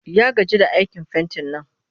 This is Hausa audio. Ya gaji da aikin fentin nan